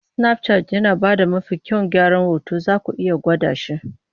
Snapchat yana ba da mafi kyawun gyaran hoto, zaku iya gwada shi.